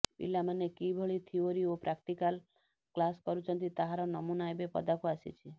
ପିଲାମାନେ କିଭଳି ଥିଓରି ଓ ପ୍ରାକ୍ଟିକାଲ କ୍ଲାସ୍ କରୁଛନ୍ତି ତାହାର ନମୁନା ଏବେ ପଦାକୁ ଆସିଛି